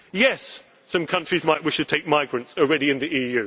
that. Yes, some countries might wish to take migrants already